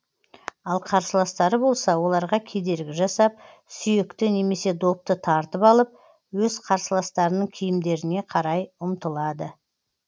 ал қарсыластары болса оларға кедергі жасап сүйекті немесе допты тартып алып өз қарсыластарының киімдеріне қарай ұмтылады